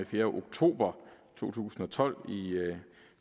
fjerde oktober to tusind og tolv i